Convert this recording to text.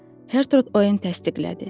Gertrude Oen təsdiqlədi.